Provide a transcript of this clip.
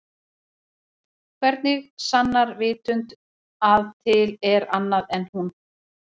Hvernig sannar vitund að til er annað en hún?